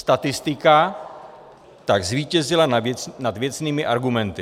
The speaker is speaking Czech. Statistika tak zvítězila nad věcnými argumenty.